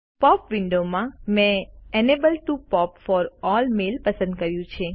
pop download માં મેં enable POP for all mail પસંદ કર્યું છે